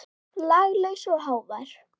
Laglaus og hávær.